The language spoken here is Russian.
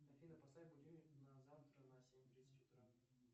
афина поставь будильник на завтра на семь тридцать утра